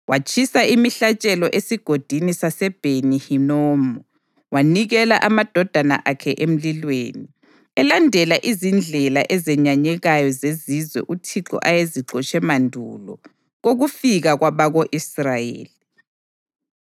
Watshisa imihlatshelo eSigodini saseBheni-Hinomu wanikela amadodana akhe emlilweni, elandela izindlela ezenyanyekayo zezizwe uThixo ayezixotshe mandulo kokufika kwabako-Israyeli.